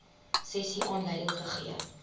sessie aanleiding gegee